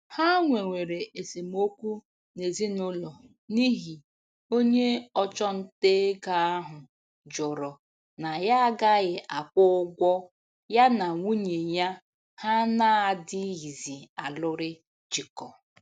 Ha nwewere esemokwu n'ezinụlọ n'ihi onye ọchụnta ego ahụ jụrụ na ya agaghị akwụ ụgwọ ya na nwunye ya ha na-adịghịzi alụrị jikọ